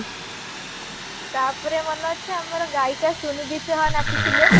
ତାପରେ ମନେ ଅଛି ଆମର ଗାଇକା ସୁନିଧି ଚୌହାନ ଆସିଥିଲେ